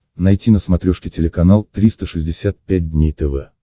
найти на смотрешке телеканал триста шестьдесят пять дней тв